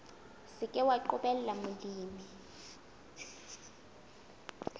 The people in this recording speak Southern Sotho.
se ke wa qobella molemi